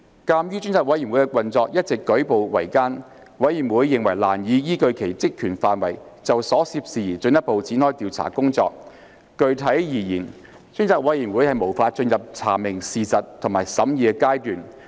鑒於專責委員會的運作一直舉步維艱，委員認為難以依據其職權範圍，就所涉事宜進一步展開調查工作。具體而言，專責委員會無法進入查明事實及審議的階段。